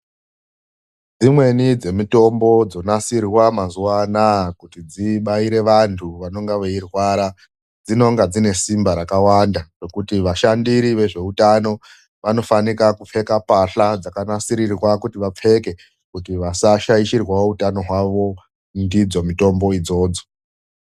Dzimweni dzemitombo dzonasirwa mazuva anaya kuti dzibairwe vantu vanenge veirwara dzinonge dzine simba rakawanda rekuti vashandiri vezveutano vanofinaka kupfeka mbahla dzakanasirirwa kuti vapfeke kuti vasaashirwawo utano hwawo ndidzo mutombo idzodzo.